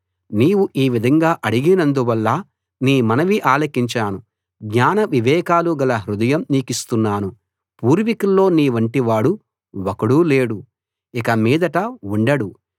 నీవు ఈ విధంగా అడిగినందువల్ల నీ మనవి ఆలకించాను జ్ఞాన వివేకాలు గల హృదయం నీకిస్తున్నాను పూర్వికుల్లో నీవంటివాడు ఒక్కడూ లేడు ఇక మీదట ఉండడు